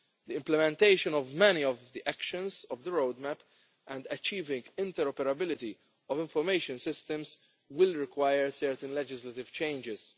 The implementation of many of the actions of the roadmap and achieving interoperability of information systems will require certain legislative changes.